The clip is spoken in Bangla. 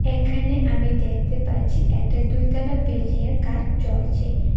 এখানে আমি দেখতে পাচ্ছি একটা দুইতলা বিল্ডিংয়ের কাজ চলছে।